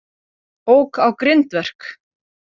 Ók á grindverk